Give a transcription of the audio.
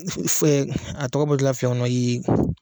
a tɔgɔ bɔtɔla filɛ n kɔnɔ